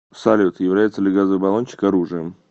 салют является ли газовый баллончик оружием